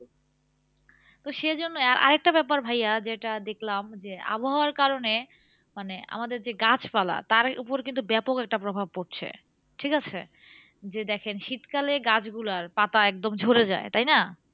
তো সেজন্য আরেকটা ব্যাপার ভাইয়া যেটা দেখলাম যে, আবহাওয়ার কারণে মানে আমাদের যে গাছপালা তার উপর কিন্তু ব্যাপক একটা প্রভাব পড়ছে, ঠিকাছে? যে দেখেন শীতকালে গাছগুলার পাতা একদম ঝরে যায়, তাইনা?